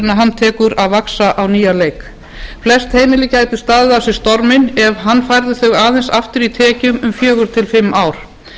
hann tekur að vaxa á nýjan leik flest heimili gætu staðið af sér storminn ef hann færði þau aðeins aftur í tekjum um fjögur til fimm ár